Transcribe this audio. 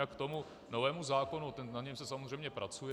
Jinak k tomu novému zákonu, na něm se samozřejmě pracuje.